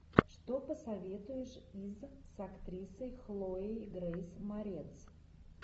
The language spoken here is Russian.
что посоветуешь из с актрисой хлоей грейс морец